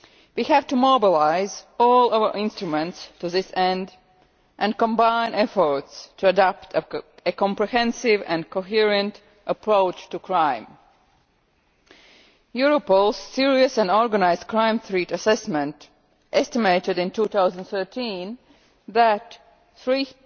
We have to mobilise all our instruments to this end and combine efforts to adopt a comprehensive and coherent approach to crime. Europol's Serious and Organised Crime Threat Assessment estimated in 2013 that 3